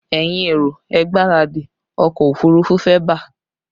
Ẹ̀yin èrò, ẹ gbáradì, ọkọ òfurufú fẹ́ bà!